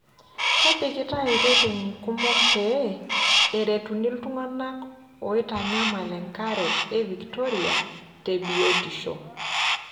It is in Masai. Epikitai ireteni kumok pee eretuni iltungana oomnayala enkare e Victoria te biotisho.